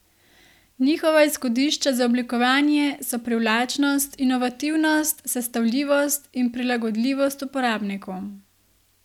Njihova izhodišča za oblikovanje so privlačnost, inovativnost, sestavljivost in prilagodljivost uporabniku.